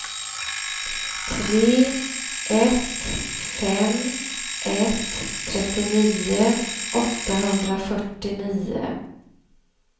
tre ett fem ett trettionio åttahundrafyrtionio